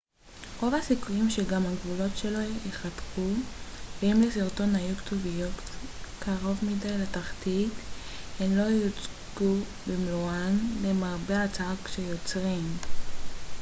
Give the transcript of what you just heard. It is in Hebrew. למרבה הצער כשיוצרים dvd רוב הסיכויים שגם הגבולות שלו ייחתכו ואם לסרטון היו כתוביות קרוב מדי לתחתית הן לא יוצגו במלואן